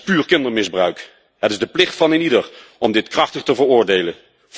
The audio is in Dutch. Het is puur kindermisbruik. Het is de plicht van eenieder om dit krachtig te veroordelen.